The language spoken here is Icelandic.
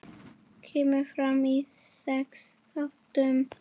Kemur fram í sex þáttum.